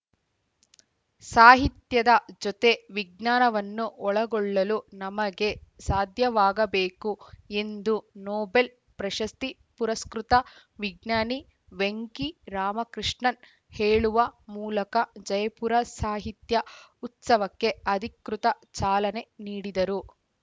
ಸಾಹಿತ್ಯದ ಜೊತೆ ವಿಜ್ಞಾನವನ್ನೂ ಒಳಗೊಳ್ಳಲು ನಮಗೆ ಸಾಧ್ಯವಾಗಬೇಕು ಎಂದು ನೊಬೆಲ್‌ ಪ್ರಶಸ್ತಿ ಪುರಸ್ಕೃತ ವಿಜ್ಞಾನಿ ವೆಂಕಿ ರಾಮಕೃಷ್ಣನ್‌ ಹೇಳುವ ಮೂಲಕ ಜೈಪುರ ಸಾಹಿತ್ಯ ಉತ್ಸವಕ್ಕೆ ಅಧಿಕೃತ ಚಾಲನೆ ನೀಡಿದರು